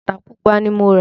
Bàtà Pupa ni mo rà